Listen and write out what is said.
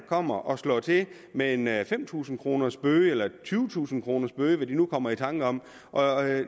kommer og slår til med med en fem tusind kroners bøde eller en tyvetusind kroners bøde hvad man nu kommer i tanker om og